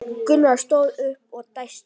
Gunnar stóð upp og dæsti.